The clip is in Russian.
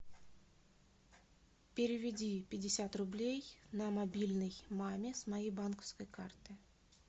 переведи пятьдесят рублей на мобильный маме с моей банковской карты